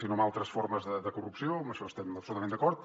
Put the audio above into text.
sinó altres formes de corrupció en això estem absolutament d’acord